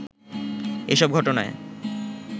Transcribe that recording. এ সব ঘটনায়